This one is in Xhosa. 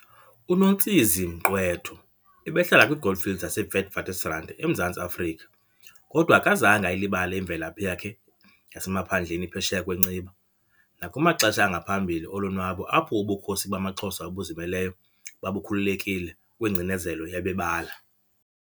UNontsizi Mgqwetho ebehlala kwiGoldfields zaseWitwatersrand eMzantsi Afrika, kodwa akazange ayilibale imvela phi yakhe yasemaphandleni phesheya kwenciba, nakumaxesha angaphambili olonwabo apho ubukhosi bamaXhosa obuzimeleyo babukhululekile kwingcinezelo yabebala.